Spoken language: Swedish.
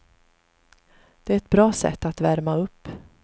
Det är ett bra sätt att värma upp.